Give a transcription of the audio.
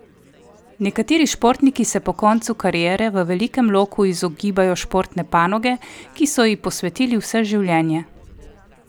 Nekateri športniki se po koncu kariere v velikem loku izogibajo športne panoge, ki so ji posvetili vse življenje.